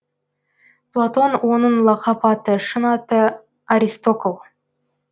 платон оның лақап аты шын аты аристокл